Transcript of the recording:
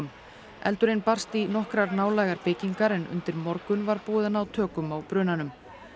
eldurinn barst í nokkrar nálægar byggingar en undir morgun var búið að ná tökum á brunanum